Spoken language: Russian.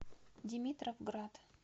димитровград